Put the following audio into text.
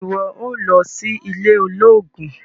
Ṣe iwọ óò lọ sí ilé olóògùn?